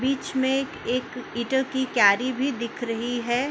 बिच में एक ईंटो की क़ियारी भी दिख रही है।